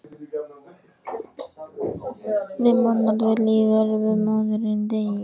Því mannorðið lifir þótt maðurinn deyi.